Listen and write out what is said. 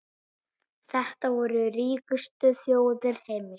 Þetta voru ríkustu þjóðir heims.